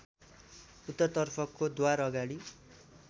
उत्तरतर्फको द्वारअगाडि